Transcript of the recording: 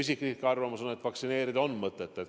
Minu isiklik arvamus on, et vaktsineerida on mõtet.